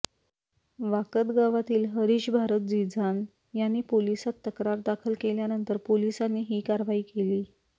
वाकद गावातील हरीश भारत झीजान यांनी पोलिसात तक्रार दाखल केल्यानंतर पोलिसांनी ही कारवाई केली